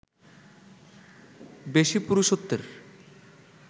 বেশি পুরুষত্বের